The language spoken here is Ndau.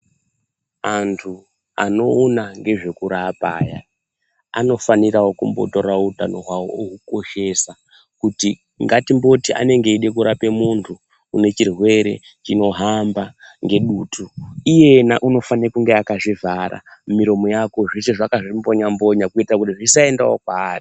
Antu anowona ngezvekurapaya, anofanirawo kumbotora wutano wawo ewukoshesa, kuti ngatimboti anenge eyide korape muntu unechirwere chinohamba ngedutu. Iyena unofane kunge akazvivhara, miromo yako, zvose akazvimbonya mbonya, kuyita kuti zvisayenda kwari.